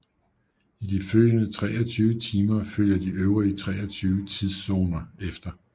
I de følgende 23 timer følger de øvrige 23 tidszoner efter